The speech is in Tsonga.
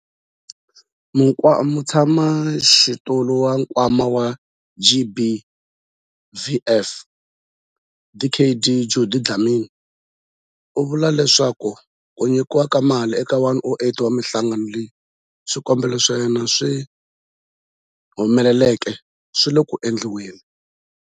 Mutshamaxitulu wa Nkwama wa GBVF, Dkd Judy Dlamini, u vule leswaku ku nyikiwa ka mali eka 108 wa mihlangano leyi swikombelo swa yona swi humeleleke swi le ku endliweni.